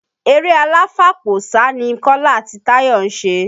Eré aláfàpò sá ni Kọ́lá àti Táyọ̀ ṣe